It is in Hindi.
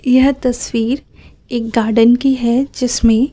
यह तस्वीर एक गार्डन की है जिसमें--